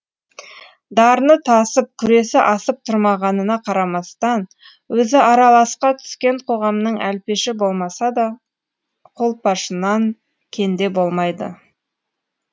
дарыны тасып күресі асып тұрмағанына қарамастан өзі араласқа түскен қоғамның әлпеші болмаса да қолпашынан кенде болмайды